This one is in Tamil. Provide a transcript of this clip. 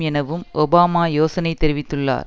எனவும் ஒபாமா யோசனை தெரிவித்துள்ளார்